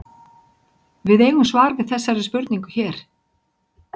Við eigum svar við þessari spurningu hér.